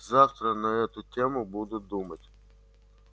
завтра на эту тему буду думать